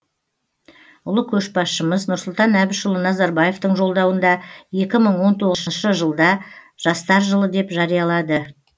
ұлы көшбасшымыз нұрсұлтан әбішұлы назарбаевтың жолдауында екі мың он тоғызыншы жылд жастар жылы деп жариялады